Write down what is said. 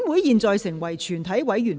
現在成為全體委員會。